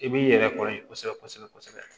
I b'i yɛrɛ kɔrɔ yen kosɛbɛ kosɛbɛ kosɛbɛ